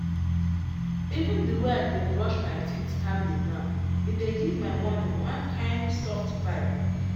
even the way i dey brush my teeth calmly now e dey give my morning one kind soft vibe.